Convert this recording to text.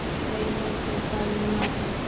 Sveinhildur, hvað er í matinn?